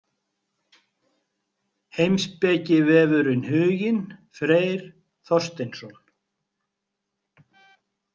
Heimspekivefurinn Huginn Freyr Þorsteinsson.